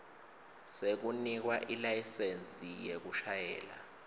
sekunikwa ilayisensi yekushayela